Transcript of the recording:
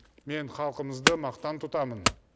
мен халқымызды мақтан тұтамын